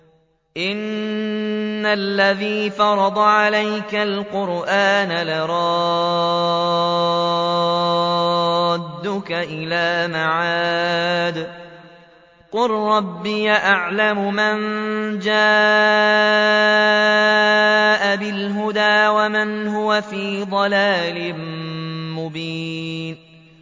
إِنَّ الَّذِي فَرَضَ عَلَيْكَ الْقُرْآنَ لَرَادُّكَ إِلَىٰ مَعَادٍ ۚ قُل رَّبِّي أَعْلَمُ مَن جَاءَ بِالْهُدَىٰ وَمَنْ هُوَ فِي ضَلَالٍ مُّبِينٍ